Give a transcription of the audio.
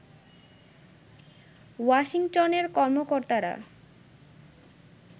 ওয়াশিংটনের কর্মকর্তারা